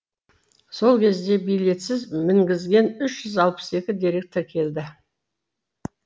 сол кезде билетсіз мінгізген үш жүз алпыс екі дерек тіркелді